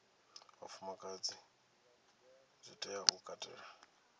vhafumakadzi zwi tea u katela